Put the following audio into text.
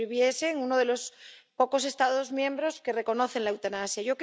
O si viviese en uno de los pocos Estados miembros que reconocen la eutanasia.